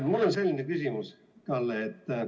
Mul on selline küsimus, Kalle.